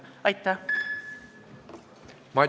Aitäh!